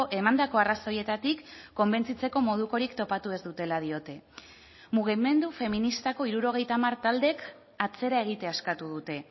emandako arrazoietatik konbentzitzeko modukorik topatu ez dutela diote mugimendu feministako hirurogeita hamar taldeek atzera egitea eskatu dute